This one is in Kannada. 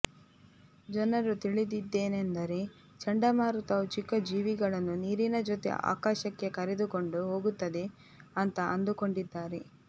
ಜನರು ತಿಳಿದಿದ್ದೇನೆಂದರೆ ಚಂಡಮಾರುತವು ಚಿಕ್ಕ ಜೀವಿಗಳನ್ನು ನೀರಿನ ಜೊತೆ ಆಕಾಶಕ್ಕೆ ಕರೆದುಕೊಂಡು ಹೋಗುತ್ತದೆ ಅಂತ ಅಂದುಕೊಂಡಿದ್ದಾರೆ